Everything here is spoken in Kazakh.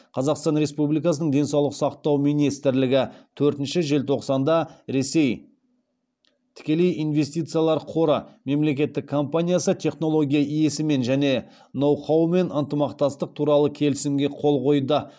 қазақстан республикасының денсаулық сақтау министрлігі төртінші желтоқсанда ресей тікелей инвестициялар қоры мемлекеттік компаниясы технология иесімен және ноу хаумен ынтымақтастық туралы келісімге қол қойды